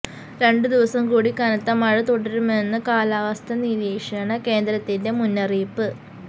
രണ്ടു ദിവസം കൂടി കനത്ത മഴ തുടരുമെന്ന് കാലാവസ്ഥാ നിരീക്ഷണ കേന്ദ്രത്തിന്റെ മുന്നറിയിപ്പ്